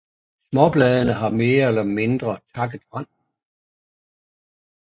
Småbladene har mere eller mindre takket rand